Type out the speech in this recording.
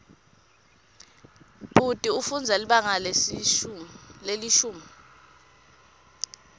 bhuti ufundza libanga lelishumi